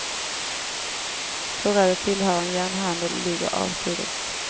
Förrådet tillhör en järnhandel och ligger avsides.